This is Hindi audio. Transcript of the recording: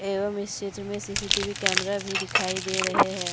एवं इस चित्र में सीसीटीवी कैमरा भी दिखाई दे रहे हैं।